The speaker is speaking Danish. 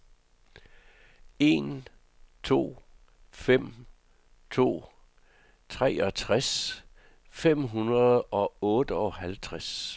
en to fem to treogtres fem hundrede og otteoghalvtreds